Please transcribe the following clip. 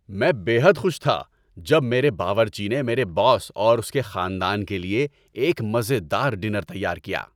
میں بے حد خوش تھا جب میرے باورچی نے میرے باس اور اس کے خاندان کے لیے ایک مزے دار ڈنر تیار کیا۔